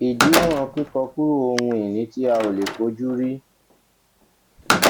ìdiwòn kíkọkúrò ohun ìní tí a ò lè fojúrí